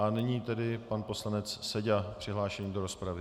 A nyní tedy pan poslanec Seďa přihlášený do rozpravy.